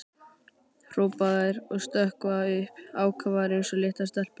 hrópa þær og stökkva upp, ákafar eins og litlar stelpur.